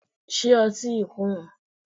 Ṣé ọtí yí kò wón?